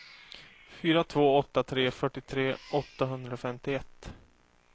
fyra två åtta tre fyrtiotre åttahundrafemtioett